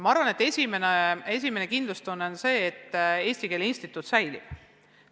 Ma arvan, et esimene näitaja on kindlustunne selles osas, et Eesti Keele Instituut säilib.